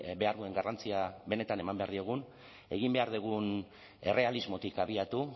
behar duen garrantzia benetan eman behar diegun egin behar dugun errealismotik abiatu